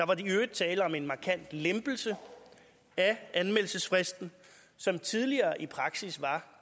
var der i øvrigt tale om en markant lempelse af anmeldelsesfristen som tidligere i praksis